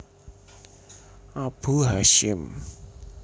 Abu Hasyim